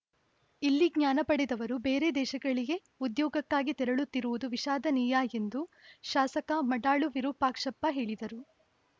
ಇಲ್ಲಿ ಜ್ಞಾನ ಪಡೆದವರು ಬೇರೆ ದೇಶಗಳಿಗೆ ಉದ್ಯೋಗಕ್ಕಾಗಿ ತೆರಳುತ್ತಿರುವುದು ವಿಷಾದನೀಯ ಎಂದು ಶಾಸಕ ಮಾಡಾಳು ವಿರೂಪಾಕ್ಷಪ್ಪ ಹೇಳಿದರು